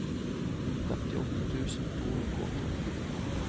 femtiåtte tusen to hundre og åttiåtte